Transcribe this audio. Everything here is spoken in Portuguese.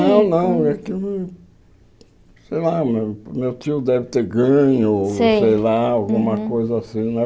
Não, não, é que... Sei lá, meu meu tio deve ter ganho, Sei sei lá, alguma coisa assim, né?